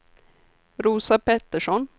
Rosa Petersson